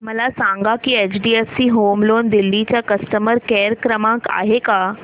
मला सांगा की एचडीएफसी होम लोन दिल्ली चा कस्टमर केयर क्रमांक आहे का